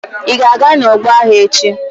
Ị ga-aga n'ọgbọ agha echi!